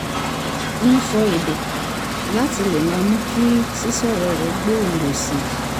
ń sọ èdè láti lè máa mú kí sísọ̀rọ̀ rẹ̀ gbòòrò sí i